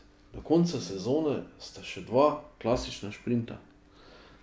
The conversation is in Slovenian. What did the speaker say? Do konca sezone sta še dva klasična sprinta.